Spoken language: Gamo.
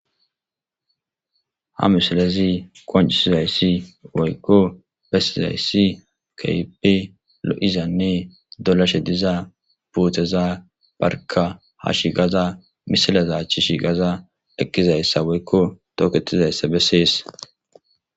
Ha misilezi qoncisizayssi woykko besizayssi kaybe lo'izanne dolashe diza buuteza barka ha shi gaza misileza chishi gaza eqqizayssa woykko tooketizayssa bessees